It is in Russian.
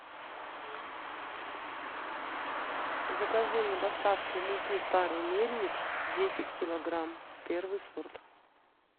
закажи мне доставку муки старый мельник десять килограмм первый сорт